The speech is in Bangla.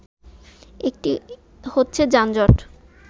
একটি হচ্ছে যানজট